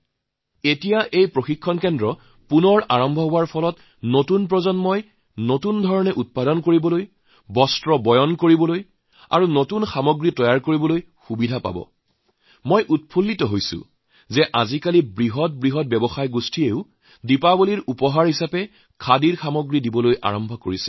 বৰ্তমান এই প্ৰশিক্ষণ কেন্দ্ৰটি পুনৰ আৰম্ভ হোৱাৰ বাবে নতুন প্ৰজন্মই আধুনিক ধৰণে নিৰ্মাণকাৰ্য কৰিবলৈ ববলৈ নতুন সামগ্ৰী প্ৰস্তুত কৰিবলৈ সহায় হৈছে আৰু মোৰ ভাল লাগিছে যে ডাঙৰ ডাঙৰ কৰপৰেট হাউচবোৰে দীপাৱলীৰ সময়ত যি উপহাৰ দিয়ে তাত আজি কালি খাদীৰ সামগ্ৰী দিয়া আৰম্ভ কৰিছে